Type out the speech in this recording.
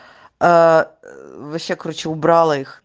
а вообще короче убрала их